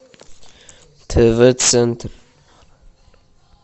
тв центр